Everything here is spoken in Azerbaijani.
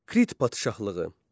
Krit padşahlığı.